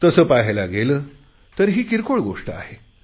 तसे पहायला गेले तर ही किरकोळ गोष्ट आहे